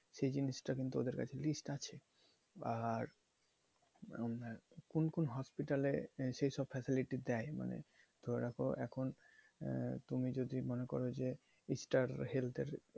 সেই জিনিসটা কিন্তু ওদের কাছে list আছে আর কোন কোন hospitals এ সেইসব facility দেয় মানে ধরে রাখো এখন আহ তুমি যদি মনে করো যে star health এর,